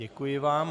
Děkuji vám.